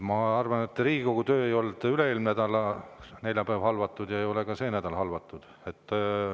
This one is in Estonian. Ma arvan, et Riigikogu töö ei olnud üle-eelmise nädala neljapäeval halvatud ja ei ole ka see nädal halvatud.